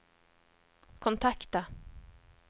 kontakta